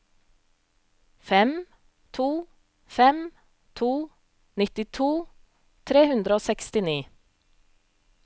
fem to fem to nittito tre hundre og sekstini